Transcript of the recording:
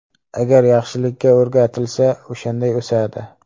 Agar yaxshilikka o‘rgatilsa, o‘shanday o‘sadi.